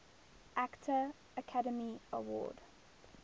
actor academy award